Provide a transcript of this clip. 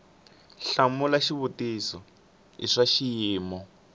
hlamula xivutiso i swa xiyimo